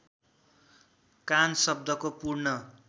कान शब्दको पूर्ण